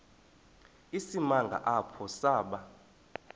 isimanga apho saba